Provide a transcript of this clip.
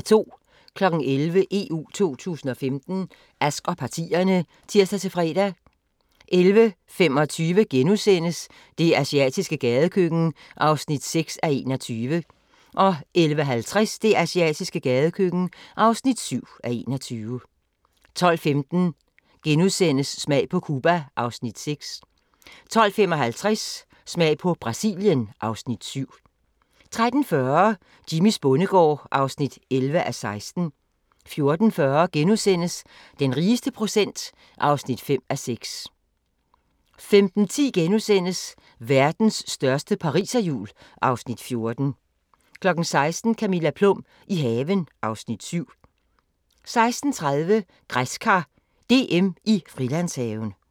11:00: EU 2015: Ask og partierne (tir-fre) 11:25: Det asiatiske gadekøkken (6:21)* 11:50: Det asiatiske gadekøkken (7:21) 12:15: Smag på Cuba (Afs. 6)* 12:55: Smag på Brasilien (Afs. 7) 13:40: Jimmys bondegård (11:16) 14:40: Den rigeste procent (5:6)* 15:10: Verdens største pariserhjul (Afs. 14)* 16:00: Camilla Plum – i haven (Afs. 7) 16:30: Græskar DM i Frilandshaven